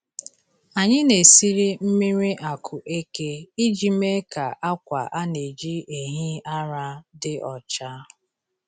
Anyị na-esiri mmiri akueke iji mee ka akwa a na-eji ehi ara dị ọcha.